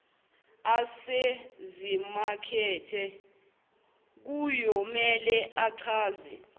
asezimakethe kuyomele achaze